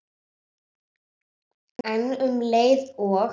En um leið og